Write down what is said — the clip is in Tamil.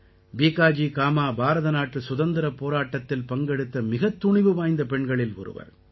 பீகாஜி காமா பாரதநாட்டு சுதந்திரப் போராட்டத்தில் பங்கெடுத்த மிகத் துணிவு வாய்ந்த பெண்களில் ஒருவர்